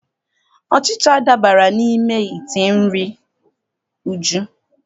Ọchịcha dabara n'ime ite nri Uju.